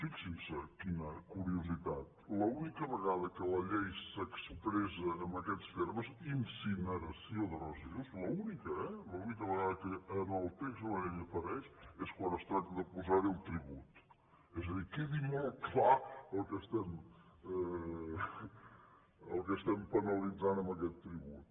fixin·se qui·na curiositat l’única vegada que la llei s’expressa en aquests termes incineració de residus l’única eh l’única vegada que en el text de la llei apareix és quan es tracta de posar·hi el tribut és a dir que quedi molt clar el que estem penalitzant amb aquest tribut